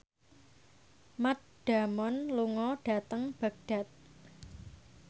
Matt Damon lunga dhateng Baghdad